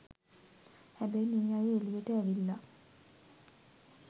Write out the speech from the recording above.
හැබැයි මේ අය එලියට ඇවිල්ල